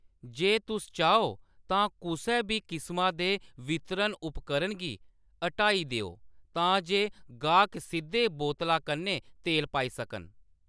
जे तुस चाहो, तां कुसै बी किसमां दे वितरण उपकरण गी हटाई देओ तां जे गाह्‌‌क सिद्धे बोतला कन्नै तेल पाई सकन।